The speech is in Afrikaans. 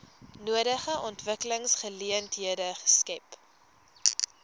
nodige ontwikkelingsgeleenthede skep